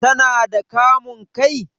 Ta na da kamun kai?